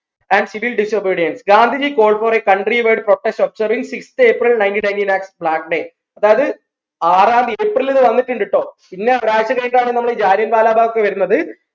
and civil disobedience Gandhiji called for a country wide protest observing sixth April nineteen nineteen as black day അതായത് ആറാം തിയ April ന്ന് തന്നിട്ടുണ്ട് ട്ടോ പിന്നെ ഒരാഴ്ച കഴിഞ്ഞിട്ടാണ് നമ്മൾ ഈ ജാലിയൻ വാല ബാഗ് ഒക്കെ വേര്ന്നത്